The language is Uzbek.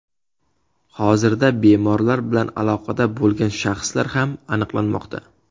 Hozirda bemorlar bilan aloqada bo‘lgan shaxslar ham aniqlanmoqda.